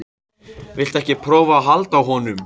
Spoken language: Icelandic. Viltu ekki prófa að halda á honum?